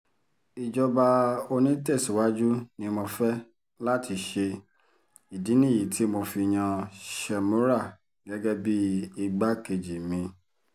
ìjọba onítẹ̀síwájú ni mo fẹ́ láti ṣe ìdí nìyí tí mo fi yan shemora gẹ́gẹ́ bíi igbákejì mi